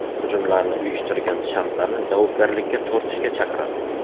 Hujumlarni uyushtirgan shaxslarni javobgarlikka tortishga chaqiradi.